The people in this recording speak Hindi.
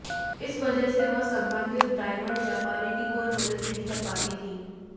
इस वजह से वह संबंधित डायमंड व्यापारी की कोई मदद नहीं कर पाती थीं